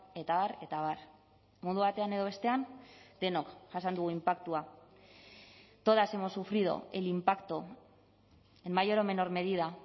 eta abar eta abar modu batean edo bestean denok jasan dugu inpaktua todas hemos sufrido el impacto en mayor o menor medida